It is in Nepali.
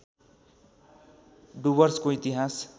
डुवर्सको इतिहास